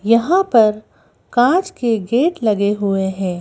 यहां पर कांच के गेट लगे हुए है।